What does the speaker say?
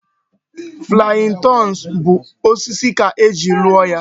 Flying turns bụ osisi ka e ji rụọ ya